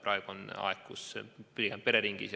Praegu on aeg põhiliselt kodus pereringis